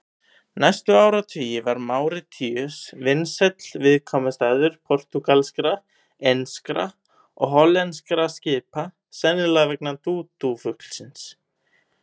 Næstu áratugi var Máritíus vinsæll viðkomustaður portúgalskra, enskra og hollenskra skipa, sennilega vegna dúdúfuglsins.